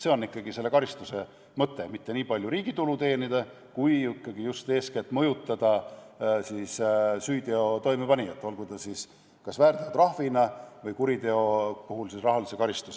See on ikkagi selle karistuse mõte, mitte niipalju see, et riigile tulu teenida, vaid ikkagi just eeskätt mõjutada süüteo toimepanijat, olgu see siis kas väärteotrahv või kuriteo puhul rahaline karistus.